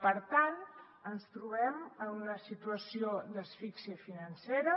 per tant ens trobem en una situació d’asfíxia financera